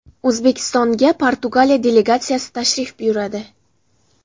O‘zbekistonga Portugaliya delegatsiyasi tashrif buyuradi.